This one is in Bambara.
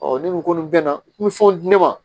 ne ko ko nin bɛna n bɛ fɛnw di ne ma